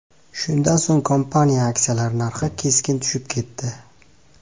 Shundan so‘ng kompaniya aksiyalari narxi keskin tushib ketdi.